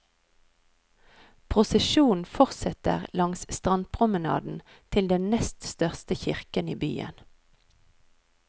Prosesjonen forsetter langs strandpromenaden til den nest største kirken i byen.